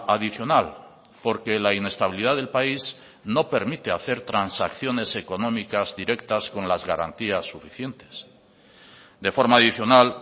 adicional porque la inestabilidad del país no permite hacer transacciones económicas directas con las garantías suficientes de forma adicional